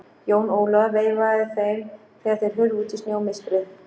Jón Ólafur veifaði þeim þegar þeir hurfu út í snjómistrið.